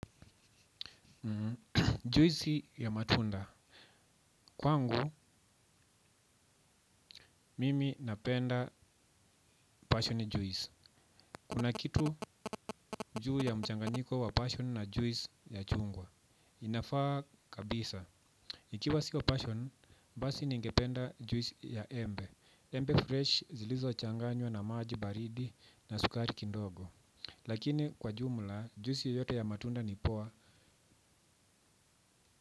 Juisi ya matunda kwangu mimi napenda pasheni juisi kuna kitu juu ya mchanganyiko wa pasheni na juisi ya chungwa inafaa kabisa ikiwa sio passion basi ningependa juisi ya embe embe freshi zilizo changanywa na maji baridi na sukari kidogo lakini kwa jumla juisi yoyote ya matunda ni poa.